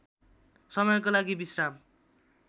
समयको लागि विश्राम